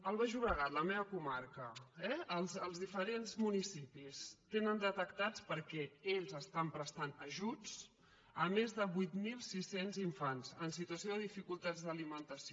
el baix llobregat la meva comarca eh els diferents municipis tenen detectats perquè ells estan prestant ajuts més de vuit mil sis cents infants en situació de dificultats d’alimentació